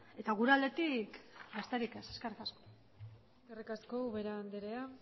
eta gure aldetik besterik ez eskerrik asko eskerrik asko ubera andrea